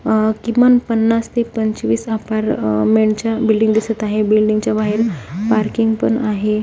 अह किमान पन्नास ते पंचवीस अपार्टमेंटच्या बिल्डिंग दिसत आहे बिल्डिंगच्या बाहेर पार्किंग पण आहे.